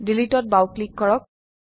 ডিলিটত বাও ক্লিক কৰক